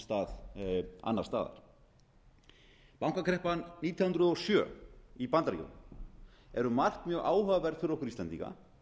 stað annars staðar bankakreppan í bandaríkjunum nítján hundruð og sjö er um margt mjög áhugaverð fyrir okkur íslendinga